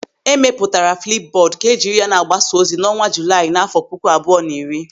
E mepụtara flipbọdụ ka e jiri ya na-agbasa ozi n'ọnwa Julaị n'àfọ́ puku abụọ na iri.